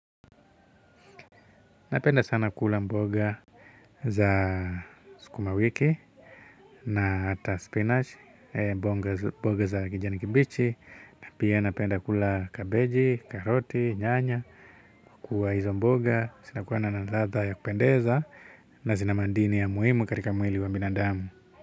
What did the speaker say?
Napenda sana kula mboga za sukuma wiki na hata spinach mboga za kijani kibichi na pia napenda kula kabeji, karoti, nyanya kuwa hizo mboga zinakuwa na ladha ya kupendeza na zina madini ya muhimu katika mwili wa binadamu.